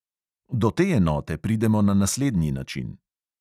Do te enote pridemo na naslednji način.